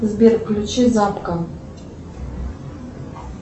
сбер включи запка